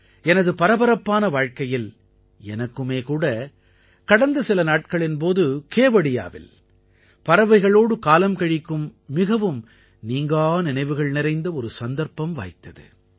எனது பரபரப்பான வாழ்க்கையில் எனக்குமே கூட கடந்த சில நாட்களின் போது கேவடியாவில் பறவைகளோடு காலம் கழிக்கும் மிகவும் நீங்கா நினைவுகள் நிறைந்த ஒரு சந்தர்ப்பம் வாய்த்தது